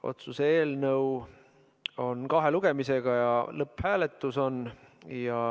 Otsuse eelnõu menetletakse kahe lugemisega ja meil on nüüd lõpphääletus.